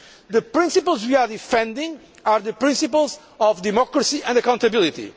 The principles we are defending are the principles of democracy and accountability.